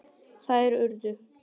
Þær urðu